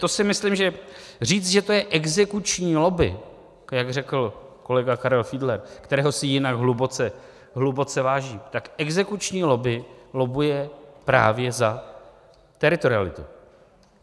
To si myslím, že říct, že to je exekuční lobby, jak řekl kolega Karel Fiedler, kterého si jinak hluboce vážím, tak exekuční lobby lobbuje právě za teritorialitu.